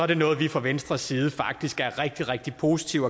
det noget vi fra venstres side faktisk er rigtig rigtig positive